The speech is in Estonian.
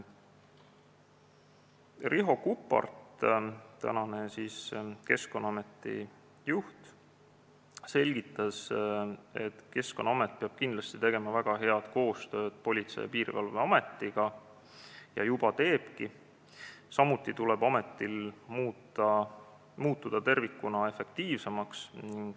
Riho Kuppart, tänane Keskkonnaameti juht, selgitas, et Keskkonnaamet peab kindlasti tegema väga head koostööd Politsei- ja Piirivalveametiga ja juba teebki, samuti tuleb ametil muutuda tervikuna efektiivsemaks.